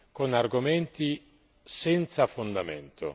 con argomenti senza fondamento.